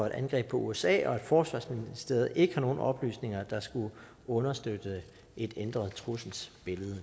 et angreb på usa og at forsvarsministeriet ikke har nogen oplysninger der skulle understøtte et ændret trusselsbillede